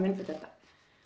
innflytjenda